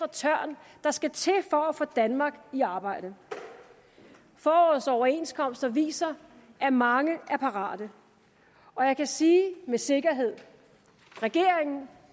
tørn der skal til for at få danmark i arbejde forårets overenskomster viser at mange er parate og jeg kan sige med sikkerhed regeringen